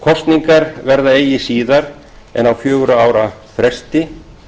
kosningar verða eigi síðar en á fjögurra ára fresti